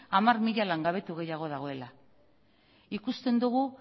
hamar mila langabetu gehiago dagoela ikusten dugu